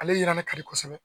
Ale yirannen ka di kosɛbɛ.